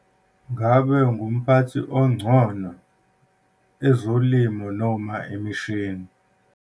Ngabe ungumphathi ongcono, ezolimo noma imishini?